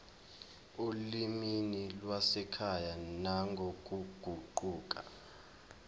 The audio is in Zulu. olimini lwasekhaya nangokuguquka